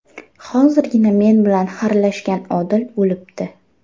Hozirgina men bilan xarlashgan Odil o‘libdi.